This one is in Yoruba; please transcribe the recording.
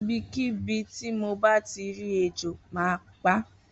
Ibikibi ti mo bati ri ejò má pa.